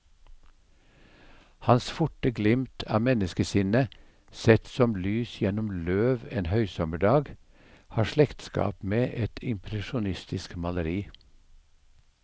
Hans forte glimt av menneskesinnet, sett som lys gjennom løv en høysommerdag, har slektskap med et impresjonistisk maleri.